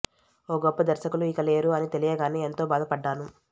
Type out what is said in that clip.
ఓ గొప్ప దర్శకులు ఇక లేరు అని తెలియగానే ఎంతో బాధపడ్డాను